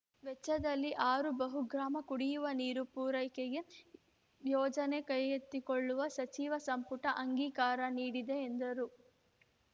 ವೆಚ್ಚದಲ್ಲಿ ಆರು ಬಹುಗ್ರಾಮ ಕುಡಿಯುವ ನೀರು ಪೂರೈಕೆಗೆ ಯೋಜನೆ ಕೈಗೆತ್ತಿಕೊಳ್ಳಲು ಸಚಿವ ಸಂಪುಟ ಅಂಗೀಕಾರ ನೀಡಿದೆ ಎಂದರು